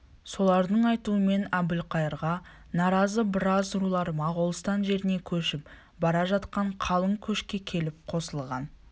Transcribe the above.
солардың айтуымен әбілқайырға наразы біраз рулар моғолстан жеріне көшіп бара жатқан қалың көшке келіп қосылған